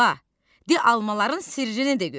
Bala, de almaların sirrini də görək.